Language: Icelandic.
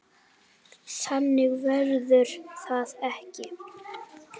Þannig verður það ekki.